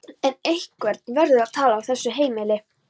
En einhver verður að tala á þessu heimili.